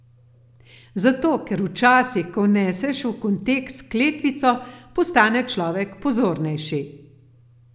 Zato, ker včasih, ko vneseš v kontekst kletvico, postane človek pozornejši.